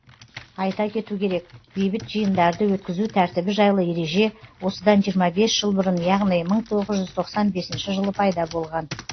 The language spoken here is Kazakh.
айта кету керек бейбіт жиындарды өткізу тәртібі жайлы ереже осыдан жиырма бес жыл бұрын яғни мың тоғыз жүз тоқсан бесінші жылы пайда болған